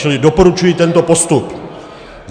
Čili doporučuji tento postup.